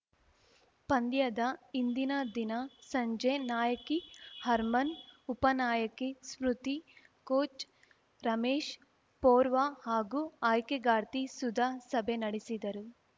ಪಂದ್ಯದ ಹಿಂದಿನ ದಿನ ಸಂಜೆ ನಾಯಕಿ ಹರ್ಮನ್‌ ಉಪನಾಯಕಿ ಸ್ಮೃತಿ ಕೋಚ್‌ ರಮೇಶ್‌ ಪೊರ್ವಾ ಹಾಗೂ ಆಯ್ಕೆಗಾರ್ತಿ ಸುಧಾ ಸಭೆ ನಡೆಸಿದರು